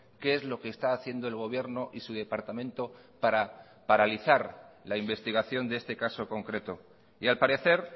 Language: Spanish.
qué es lo que está haciendo el gobierno y su departamento para paralizar la investigación de este caso concreto y al parecer